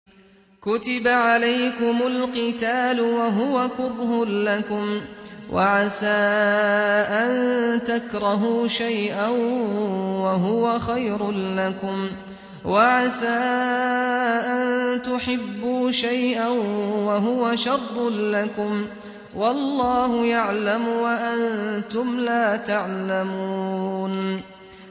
كُتِبَ عَلَيْكُمُ الْقِتَالُ وَهُوَ كُرْهٌ لَّكُمْ ۖ وَعَسَىٰ أَن تَكْرَهُوا شَيْئًا وَهُوَ خَيْرٌ لَّكُمْ ۖ وَعَسَىٰ أَن تُحِبُّوا شَيْئًا وَهُوَ شَرٌّ لَّكُمْ ۗ وَاللَّهُ يَعْلَمُ وَأَنتُمْ لَا تَعْلَمُونَ